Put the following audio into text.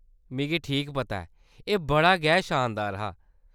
मिगी ठीक पता ऐ ! एह्‌‌ बड़ा गै शानदार हा।